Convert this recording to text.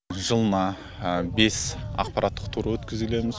жылына бес ақпараттық тур өткізілеміз